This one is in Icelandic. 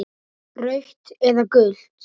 Rautt eða gult?